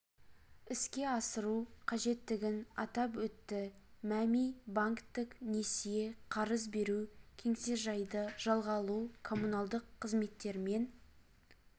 іске асыру қажеттігін атап өтті мәми банктік несие қарыз беру кеңсежайды жалға алу коммуналдық қызметтермен